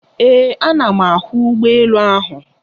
Ee, ana m ahụ ụgbọ elu ahụ.